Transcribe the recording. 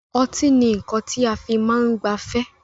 Ọtí ni nnkan ti a fi máa ń gbafẹ́